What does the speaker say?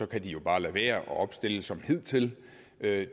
kan de jo bare lade være og opstille som hidtil det